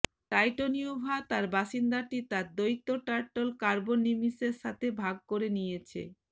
টাইটোনিওভা তার বাসিন্দাটি তার দৈত্য টার্ট্ল কার্বোনিমিসের সাথে ভাগ করে নিয়েছে